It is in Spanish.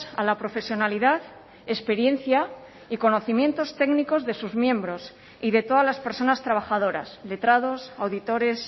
a la profesionalidad experiencia y conocimientos técnicos de sus miembros y de todas las personas trabajadoras letrados auditores